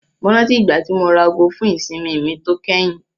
Mo rántí ìgbà tí mo ra aago fún ìsinmi mi tó kẹ́yìn.